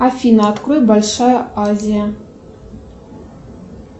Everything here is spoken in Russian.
афина открой большая азия